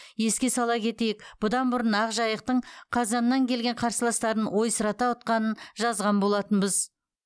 еске сала кетейік бұдан бұрын ақжайықтың қазаннан келген қарсыластарын ойсырата ұтқанын жазған болатынбыз